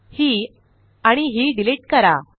ही आणि ही डिलिट करा